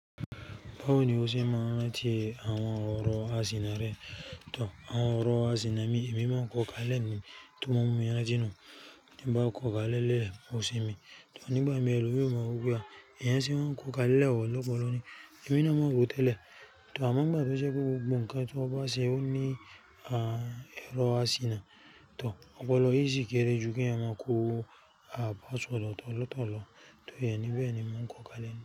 Báwo ni o ṣe máa ń rá tí àwọn ọ̀rọ̀ ásiná rẹ̀? Tò, àwọn ọ̀rọ̀ á siná mi, èmi máa ń kọ́ka lẹ́nu tún mú yara tinu. Nígbà kọ́ka lélẹ̀, ó sinmi. Tò nígbà mi èlúyọ̀ máa mọ̀ pé ìyẹn ṣe máa ń kọ́ka lẹ́hò lọ́pọ̀lọpọ̀ ni èmi ni mọ̀ ó gùn tẹ́lẹ̀. Tò àmọ́ ìgbà tó ṣe pé ó bu nǹkan tí ọba ṣe ó ní à ẹrọ àsìnà. Tò ọpọlọ yìí sì kéré ju kí èèyàn máa ku à bá ṣòlò tọ̀lọ́tọ̀lọ́ tó iye níbí ẹni mó ń kọ́ka lẹ́nu.